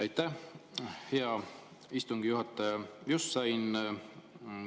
Aitäh, hea istungi juhataja!